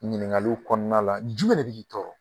Ɲininkali kɔnɔna la jumɛn de bɛ k'i tɔɔrɔ